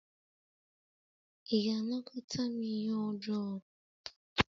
Ị ga-anakọta m ihe ọjọọ?